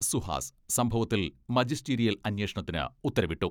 സുഹാസ് സംഭവത്തിൽ മജിസ്റ്റീരിയൽ അന്വേഷണത്തിന് ഉത്തരവിട്ടു.